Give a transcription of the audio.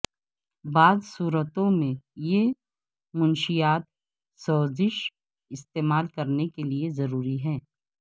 بعض صورتوں میں یہ منشیات سوزش استعمال کرنے کے لئے ضروری ہے